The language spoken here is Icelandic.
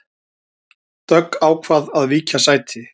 Dögg ákvað að víkja sæti